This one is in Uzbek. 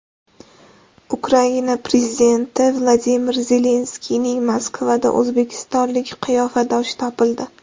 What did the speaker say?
Ukraina prezidenti Vladimir Zelenskiyning Moskvada o‘zbekistonlik qiyofadoshi topildi.